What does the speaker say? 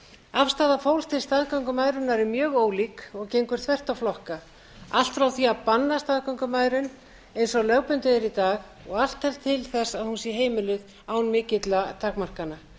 afstaða fólks til staðgöngumæðrunar er mjög ólík og gengur þvert á flokka allt frá því að banna staðgöngumæðrun eins og lögbundið er í dag og allt til þess að hún sé heimiluð án mikilla takmarkana